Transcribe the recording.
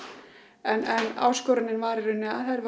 en áskorunin var í rauninni að þær væru